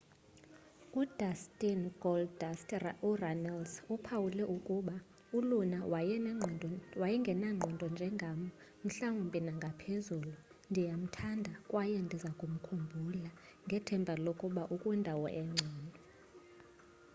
udustin goldust urunnels uphawule ukuba uluna wayengenangqondo njengam ... mhlawumbi nangaphezulu ... ndiyamthanda kwaye ndizakumkhumbula ... ngethemba lokuba ukwindawo engcono.